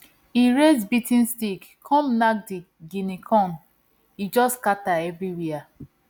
he raise beating stick come knack di guinea corn e just scatter everywhere